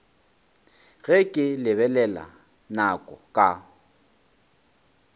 ge ke lebelela nako ka